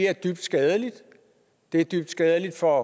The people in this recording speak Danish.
er dybt skadeligt det er dybt skadeligt for